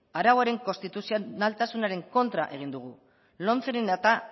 arauen konstituzionaltasun kontra egin dugu lomceren